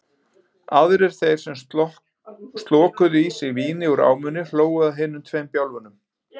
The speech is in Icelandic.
Aðrir þeir sem slokuðu í sig víni úr ámunni hlógu að hinum tveim bjálfum.